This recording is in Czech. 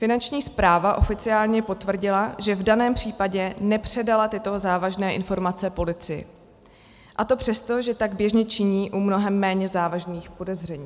Finanční správa oficiálně potvrdila, že v daném případě nepředala tyto závažné informace policii, a to přesto, že tak běžně činí u mnohem méně závažných podezření.